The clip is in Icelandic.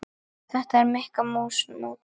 Er þetta Mikka mús mót?